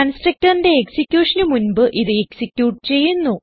constructorന്റെ എക്സിക്യൂഷന് മുൻപ് ഇത് എക്സിക്യൂട്ട് ചെയ്യുന്നു